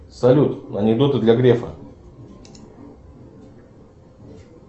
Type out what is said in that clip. салют анекдоты для грефа